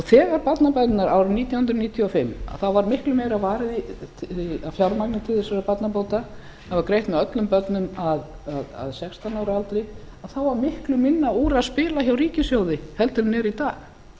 þegar barnabæturnar nítján hundruð níutíu og fimm þá var miklu meira varið af fjármagni til þessara barnabóta það var greitt með öllum börnum að sextán ára aldri en þá var miklu minna úr að spila hjá ríkissjóði heldur en er í dag voru